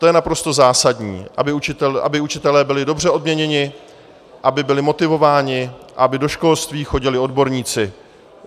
To je naprosto zásadní, aby učitelé byli dobře odměněni, aby byli motivováni, aby do školství chodili odborníci.